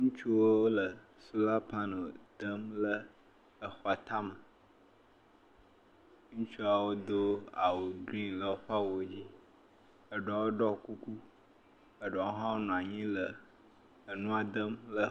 Ŋutsuwo wole solar panel dem le exɔa tame. Ŋutsuawo do awu green le woƒe awuwo dzi. Eɖewo ɖɔ kuku, eɖewo hã wonɔ anyi le eŋua dem le …